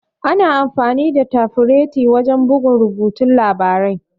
Ana amfani da tafireta wajan bugun rubutun labarai.